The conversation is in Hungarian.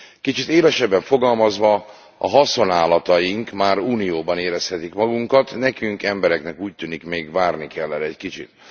Kicsit élesebben fogalmazva a haszonállataink már unióban érezhetik magukat, nekünk embereknek úgy tűnik még várni kell erre egy kicsit.